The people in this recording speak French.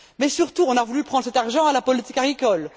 Mais, surtout, on a voulu prendre cet argent à la politique agricole